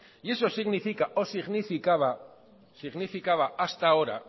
y eso significa o significaba hasta ahora